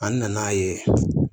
An nana ye